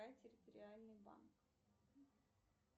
территориальный банк